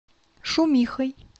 шумихой